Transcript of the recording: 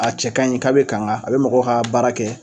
A cɛ kaɲi k'a be kanga a be mɔgɔ ka baara kɛ